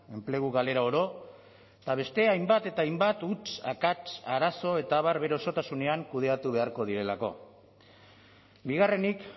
enplegu galera oro eta beste hainbat eta hainbat huts akats arazo eta abar bere osotasunean kudeatu beharko direlako bigarrenik